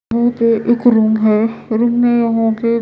यहां पे एक रूम है रूम में यहां पे--